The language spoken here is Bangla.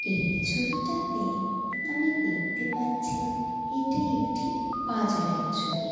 এই ছবিটাতে-এ আমি দেখতে পাচ্ছি-ই এটি একটি বাজারের ছবি।